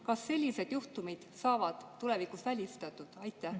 Kas sellised juhtumid on tulevikus välistatud?